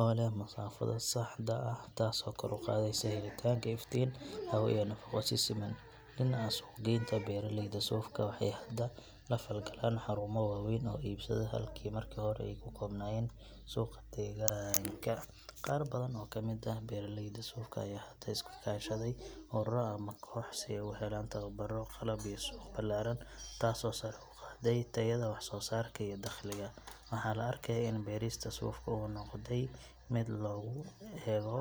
oo leh masaafada saxda ah taasoo kor u qaadaysa helitaanka iftiin, hawo iyo nafaqo si siman ah. Dhinaca suuq geynta, beeraleyda sufka waxay hadda la falgalaan xarumo waaweyn oo iibsada, halka markii hore ay ku koobnaayeen suuqa deegaanka. Qaar badan oo ka mid ah beeraleyda sufka ayaa hadda iska kaashaday ururro ama kooxo si ay u helaan tababarro, qalab iyo suuq ballaaran taasoo sare u qaaday tayada wax soo saarka iyo dakhliga. Waxaa la arkayaa in beerista sufka ay noqotay mid loo eego